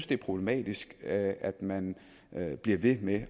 det er problematisk at man bliver ved med